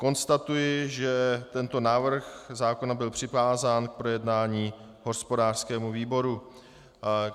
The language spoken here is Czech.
Konstatuji, že tento návrh zákona byl přikázán k projednání hospodářskému výboru.